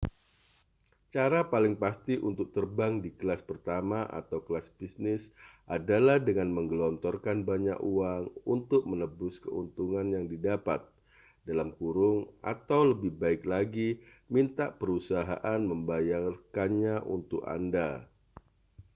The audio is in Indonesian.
cara paling pasti untuk terbang di kelas pertama atau kelas bisnis adalah dengan menggelontorkan banyak uang untuk menebus keuntungan yang didapat atau lebih baik lagi minta perusahaan membayarkannya untuk anda